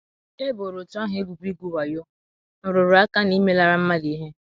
E boro òtù ahụ ebubo igwu wayo, nrụrụ aka, na imelara mmadụ ihe.